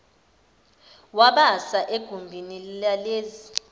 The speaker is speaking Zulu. wabasa egumbini lalezi